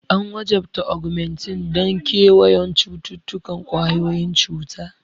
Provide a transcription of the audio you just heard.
An wajabta Augmentin don kewayon cututtukan ƙwayoyin cuta.